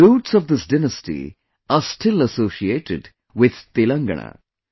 The roots of this dynasty are still associated with Telangana